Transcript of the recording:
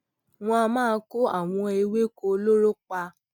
wón a máa kó àwọn ewéko olóró pa